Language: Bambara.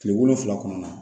Kile wolonfila kɔnɔna na